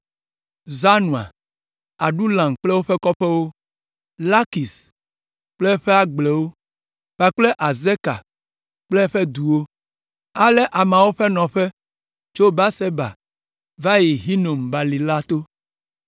Zanoa, Adulam kple woƒe kɔƒewo, Lakis kple eƒe agblewo kpakple Azeka kple eƒe duwo. Ale ameawo ƒe nɔƒe tso Beerseba va yi Hinom balime la to.